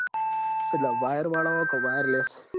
` એટલ wire વાળો ક wireless